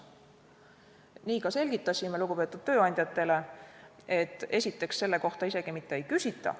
Nii ka selgitasime lugupeetud tööandjatele, et esiteks selle kohta isegi mitte ei küsita.